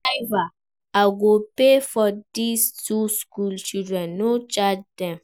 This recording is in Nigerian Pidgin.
Driver, I go pay for dis two school children, no charge dem